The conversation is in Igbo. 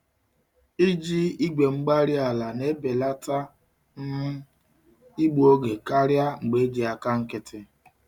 IjiI gwe-mgbárí-ala na-ebelata um igbu oge karịa mgbe eji àkà nkịtị.